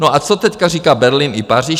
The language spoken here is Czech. No a co teď říká Berlín i Paříž?